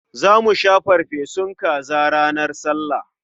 Za mu sha farfesun kaza ranar Sallah.